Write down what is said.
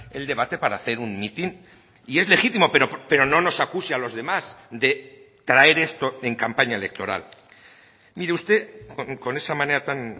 el debate para hacer un mitin y es legítimo pero no nos acuse a los demás de traer esto en campaña electoral mire usted con esa manera tan